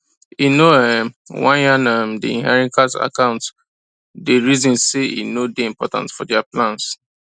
e no um wan yan um the inheritance accounte day reason say e no day important for their plans